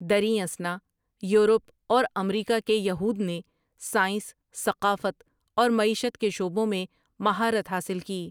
دریں اثنا، یورپ اور امریکہ کے یہود نے سائنس، ثقافت اور معیشت کے شعبوں میں مہارت حاصل کی ۔